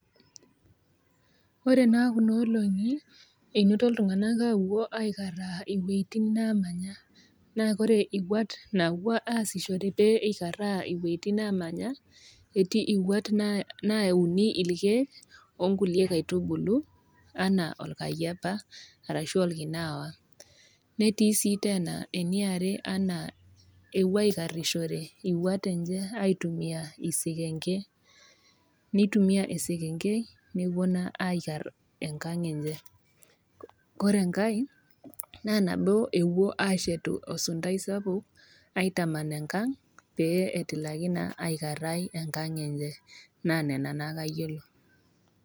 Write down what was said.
Ore naa kuna olong'i einoto iltung'ana aapuo aikaraa iwuetin naamanya, naa ore iwuat napuo aasishore peyie eikaraa iwueitin naamanya, etii iwuat nauni ilkeek, o nkulie kaitubulu anaa olkayiepa arashu olkinewa. Netii sii teena ene are anaa ewuo aikarishore iwuat enye aitumiya isikenge, neitumiya naa esekengei aikar naa enkang' enye, kore enkai naa nabo ewuoi aashetu esuntai sapuk aitaman enkang' naa pee etilaki aikarai enkang' enye naa nena naake ayiolo,